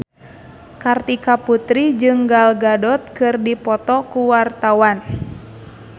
Kartika Putri jeung Gal Gadot keur dipoto ku wartawan